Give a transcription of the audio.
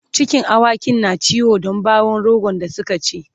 cikin awakin na ciwo Dan bawon rogo da Suka ci